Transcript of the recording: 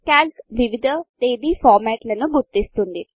Calc వివిధ తేదీ ఫార్మాట్ల్ లను గుర్తిస్తుంది